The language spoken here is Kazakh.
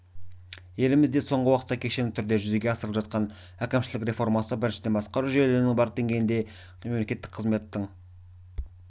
елімізде соңғы уақытта кешенді түрде жүзеге асырылып жатқан әкімшілік реформасы біріншіден басқару жүйелерінің барлық деңгейінде мемлекеттік қызметтің